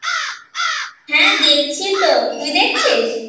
হ্যাঁ দেখছি তো তুই দেখছিস?